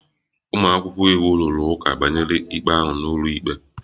Ụmụ akwụkwọ iwu rụrụ ụka banyere ikpe ahụ n'ụlọikpe